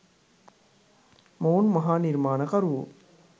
මොවුන් මහා නිර්මාණකරුවෝ